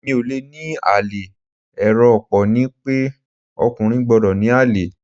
Èmi ò le ní àlè, èrò ọ̀pọ̀ ni pé ọkùnrin gbọ́dọ̀ ní àlè.